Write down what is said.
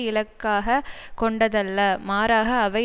இலக்காக கொண்டதல்ல மாறாக அவை